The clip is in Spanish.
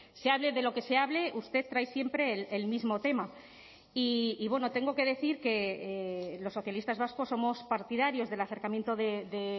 se hable de lo que se hable usted trae siempre el mismo tema y bueno tengo que decir que los socialistas vascos somos partidarios del acercamiento de